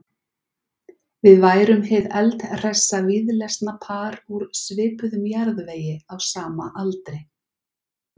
Við værum hið eldhressa víðlesna par úr svipuðum jarðvegi á sama aldri.